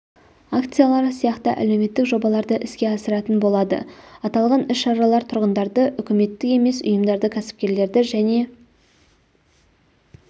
акциялары сияқты әлеуметтік жобаларды іске асыратын болады аталған іс-шаралар тұрғындарды үкіметтік емес ұйымдарды кәсіпкерлерді және